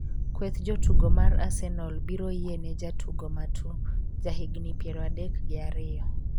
Kweth jotugo mar Arsenal biro yiene jatugo Matu, ja higni piero adek gi ariyo